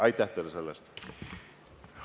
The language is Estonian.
Aitäh teile selle eest!